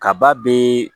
Kaba be